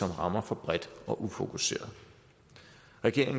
rammer for bredt og ufokuseret regeringen